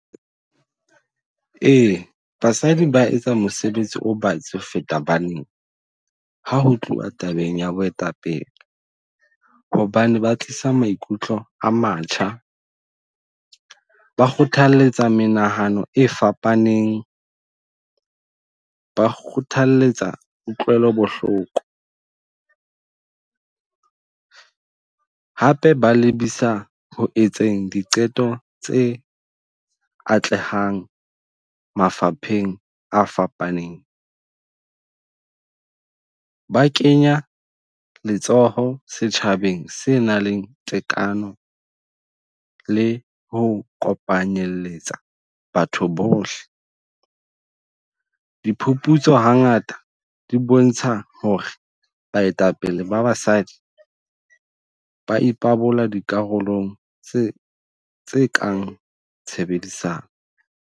Ee, basadi ba etsa mosebetsi o batsi ho feta banna ha ho tluwa tabeng ya boetapele. Hobane ba tlisa maikutlo a matjha, ba kgothaletsa menahano e fapaneng, ba kgothaletsa kutlwelo bohloko. Hape ba lebisa ho etseng diqeto tse atlehang mafapheng a fapaneng. Ba kenya letsoho setjhabeng se nang le tekano le ho kopanyeletsa le batho bohle. Diphuputso hangata di bontsha hore baetapele ba basadi ba ipabola dikarolong tse tse kang tshebedisano.